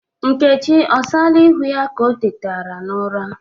Nneka o sala ịhụ ya ka o tetara n'ụra?